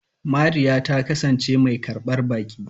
Mariya ta kasance mai karbar baki.